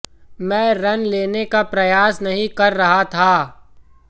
मैं रन लेने का प्रयास नहीं कर रहा था